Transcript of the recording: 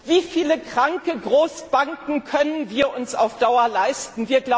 Wie viele kranke Großbanken können wir uns auf Dauer leisten?